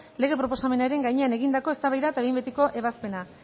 lege proposamenaren gainean egindakoa eztabaida eta behin betiko ebazpena